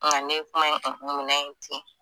Nga ne ye kuma in unhu minɛ in ten